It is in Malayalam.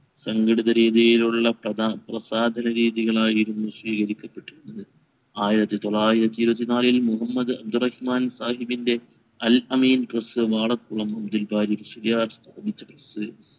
സംഘടിത രീതിയിലുള്ള പ്രസാദരീതികളായിരുന്നു ആയിരത്തി തൊള്ളായിരത്തി ഇരുവതി നാലിൽ മുഹമ്മദ് അബ്ദുറഹ്മാൻ സാഹിബിൻറെ അൽഅമീൻ press